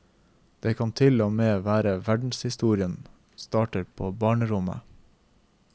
Det kan til og med være at verdenshistorien starter på barnerommet.